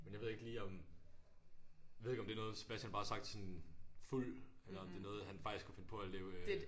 Men jeg ved ikke lige om jeg ved ikke om det er noget Sebastian bare har sagt sådan fuld eller om det er noget han faktisk kunne finde på at leve øh